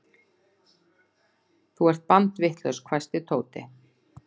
Þú ert bandvitlaus hvæsti Tóti.